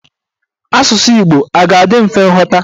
Asụsụ Igbo a ga-adị mfe ịghọta?